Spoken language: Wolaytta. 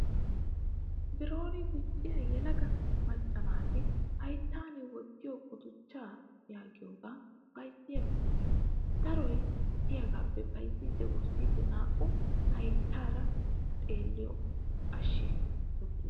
Biron dicciyaa yelaga macca naati hayittan wottiyo guduchchaa yaagiyoogaa bayizziyaa bitaniyaa. Daroyi diyaagaappe bayizzidi wurssiidi naa'u hayitteeri xalliyoo ashshi uttis.